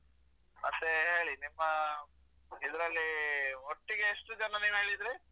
ಮತ್ತೆ ಹೇಳಿ ನಿಮ್ಮ ಇದ್ರಲ್ಲಿ ಒಟ್ಟಿಗೆ ಎಷ್ಟು ಜನ ನೀವ್ ಹೇಳಿದ್ರಿ.